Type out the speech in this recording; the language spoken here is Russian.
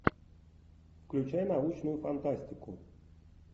включай научную фантастику